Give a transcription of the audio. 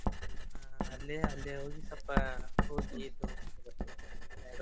ಹಾ ಅಲ್ಲಿ ಅಲ್ಲಿ ಹೋಗಿ ಸ್ವಲ್ಪ ಹೋಗಿ ಇದು .